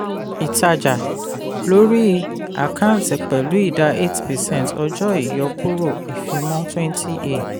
ìtajà lórí àkántì pẹ̀lú idà ten point five one percent eight percent ọjọ́ ìyọkúrò ìfimọ́ twenty a.